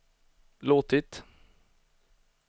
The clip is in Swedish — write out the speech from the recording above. låtit